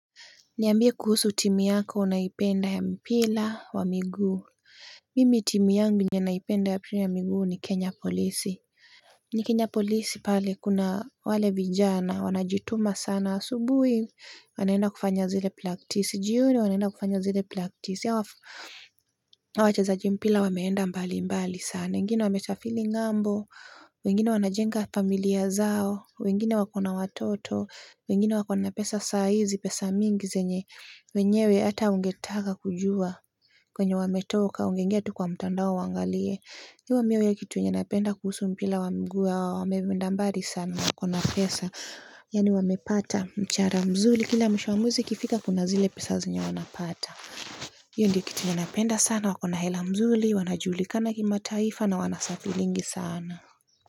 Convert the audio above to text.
Niambie kuhusu timu yako unayoipenda ya mpira wa miguu Mimi timu yangu yenye naipenda ya mpira ya miguu ni kenya polisi ni kenya polisi pale kuna wale vijana wanajituma sana asubuhi wanaenda kufanya zile plaktisi jioni wanaenda kufanya zile plaktisi hawa wachezaji mpira wameenda mbali mbali sana wengine wamesafiri ng'ambo wengine wanajenga familia zao wengine wa kona watoto wengine wa kona pesa saa hizi pesa mingi zenye wenyewe hata ungetaka kujua kwenye wameotoka ungeingia tu kwa mtandao uangalie. So mimi kitu napenda kuhusu mpira wa miguu hawa wameenda mbali sana wako na pesa yaani wamepata mshahara mzuri kila mwisho wa mwezi ukifika kuna zile pesa zenye wanapata hii ndyo kitu napenda sana, wa kona hela mzuri, wanajulikana kimataifa na wanasafiringi sana.